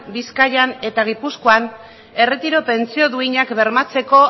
bizkaian eta gipuzkoan erretiro pentsio duinak bermatzeko